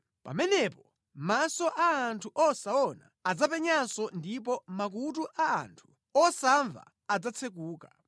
Pamenepo maso a anthu osaona adzapenyanso ndipo makutu a anthu osamva adzatsekuka.